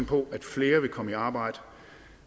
på at flere vil komme i arbejde